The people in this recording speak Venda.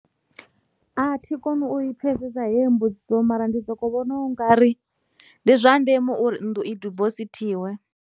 A thi koni u i pfesesa heyo mbudziso mara ndi soko vhona ungari ndi zwa ndeme uri nnḓu i dibosithiwe.